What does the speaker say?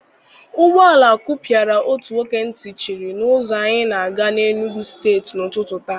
Ụgbọala kụpịara otu nwoke ntị chiri na ụzọ anyị na-aga Enugwu steeti n'ụtụtụ taa.